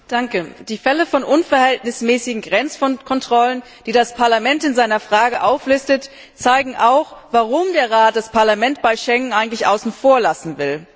Herr Präsident! Die Fälle von unverhältnismäßigen Grenzkontrollen, die das Parlament in seiner Anfrage auflistet, zeigen auch, warum der Rat das Parlament bei Schengen eigentlich außen vor lassen will.